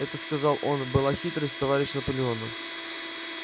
это сказал он была хитрость товарища наполеона